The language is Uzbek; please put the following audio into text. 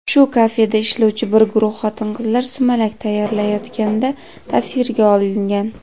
shu kafeda ishlovchi bir guruh xotin-qizlar sumalak tayyorlayotganda tasvirga olingan.